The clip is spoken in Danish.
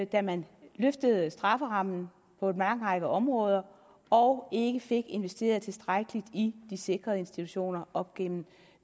da man løftede strafferammen på en lang række områder og ikke fik investeret tilstrækkeligt i de sikrede institutioner op gennem